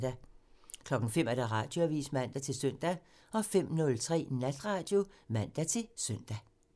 05:00: Radioavisen (man-søn) 05:03: Natradio (man-søn)